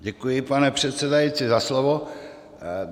Děkuji, pane předsedající, za slovo.